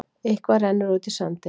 Eitthvað rennur út í sandinn